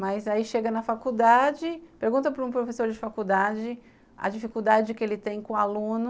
Mas aí chega na faculdade, pergunta para um professor de faculdade a dificuldade que ele tem com aluno